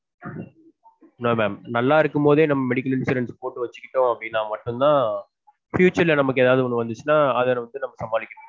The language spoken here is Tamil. No mam நல்லா இருக்கும்போதே நம்ம medical insurance போட்டு வச்சுக்கிட்டொம் அப்டினா மட்டும் தான் future ல நமக்கு ஏதாவது ஒன்னு வந்தச்சுனா அத வச்சு சமாளிக்க முடியும்